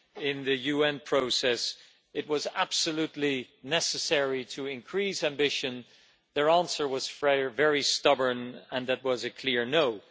in the UN process, it was absolutely necessary to increase ambition, their answer was very stubborn and that was a clear no'.